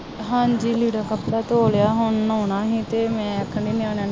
ਹਾਂਜੀ ਲੀੜਾ ਕੱਪੜਾ ਧੋ ਲਿਆ, ਹੁਣ ਨਹਾਉਣਾ ਹੈ ਅਤੇ ਮੈਂ ਕਹਿੰਦੀ ਨਿਆਣਿਆਂ ਨੂੰ